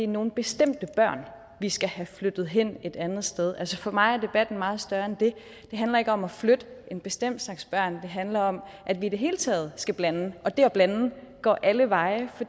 nogle bestemte børn vi skal have flyttet hen et andet sted altså for mig er debatten meget større end det det handler ikke om at flytte en bestemt slags børn det handler om at vi i det hele taget skal blandes og det at blande går alle veje for